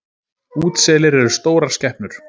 Útselir eru stórar skepnur.